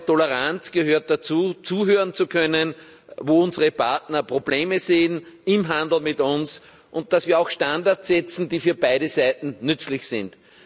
Toleranz gehört dazu, zuhören zu können, wo unsere Partner Probleme im Handel mit uns sehen, und dass wir auch Standards setzen, die für beide Seiten nützlich sind.